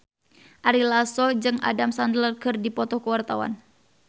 Ari Lasso jeung Adam Sandler keur dipoto ku wartawan